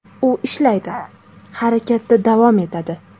U ishlaydi, harakatda davom etadi.